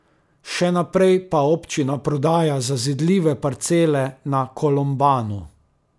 Še naprej pa občina prodaja zazidljive parcele na Kolombanu.